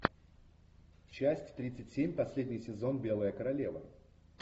часть тридцать семь последний сезон белая королева